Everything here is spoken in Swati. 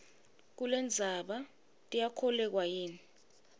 kulendzaba tiyakholweka yini